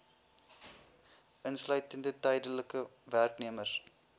insluitende tydelike werknemers